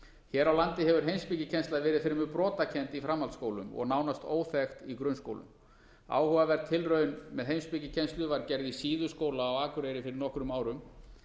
hér á landi hefur heimspekikennsla verið fremur brotakennd í framhaldsskólum og nánast óþekkt í grunnskólum áhugaverð tilraun með heimspekikennslu var gerð í síðuskóla á akureyri fyrir nokkrum árum